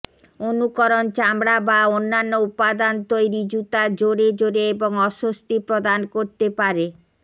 অনুকরণ চামড়া বা অন্যান্য উপাদান তৈরি জুতা জোরে জোরে এবং অস্বস্তি প্রদান করতে পারে